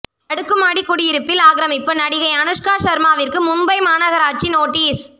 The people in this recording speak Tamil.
அடுக்குமாடி குடியிருப்பில் ஆக்கிரமிப்பு நடிகை அனுஷ்கா சர்மாவிற்கு மும்பை மாநகராட்சி நோட்டீஸ்